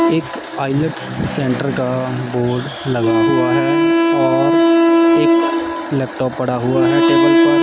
एक सेंटर का बोर्ड लगा हुआ है और एक लैपटॉप पड़ा हुआ है टेबल पर--